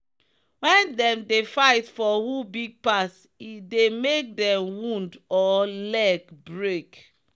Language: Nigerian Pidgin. when them dey fight for who big pass e dey make them wound or leg break.